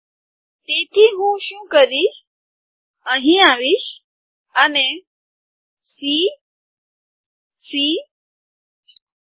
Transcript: તેથી હું શું કરીશ હું અહીં આવીશ અને સી સી આર